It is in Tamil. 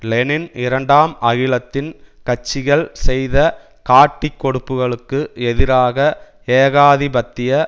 லெனின் இரண்டாம் அகிலத்தின் கட்சிகள் செய்த காட்டிக்கொடுப்புகளுக்கு எதிராக ஏகாதிபத்திய